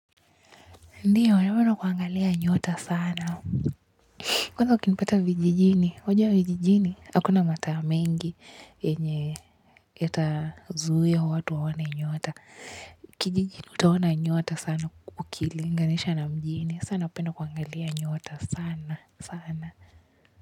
Ndiyo, napenda kuangalia nyota sana. Kwanza ukipata vijijini, wajua vijijini, hakuna mataa mengi yenye yatazuia watu waone nyota. Kijijini, utaona nyota sana ukilinganisha na mjini. Sa napenda kuangalia nyota sana, sana.